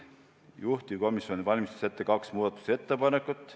Juhtivkomisjon valmistas ette kaks muudatusettepanekut.